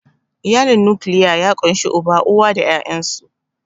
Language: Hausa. Iyalin nukiliya ya ƙunshi Uba, uwa da ƴaƴansu.